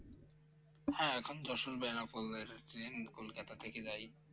হ্যাঁ এখন যশোর বেনাপোল এর train । কলকাতা থেকে যায়